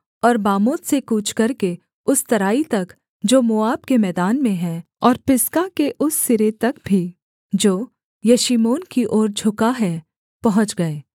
और बामोत से कूच करके उस तराई तक जो मोआब के मैदान में है और पिसगा के उस सिरे तक भी जो यशीमोन की ओर झुका है पहुँच गए